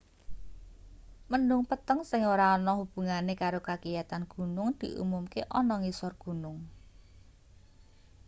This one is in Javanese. mendhung peteng sing ora ana hubungane karo kagiyatan gunung diumumke ana ngisor gunung